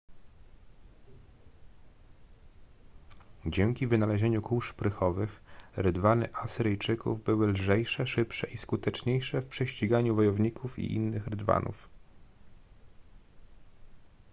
dzięki wynalezieniu kół szprychowych rydwany asyryjczyków były lżejsze szybsze i skuteczniejsze w prześciganiu wojowników i innych rydwanów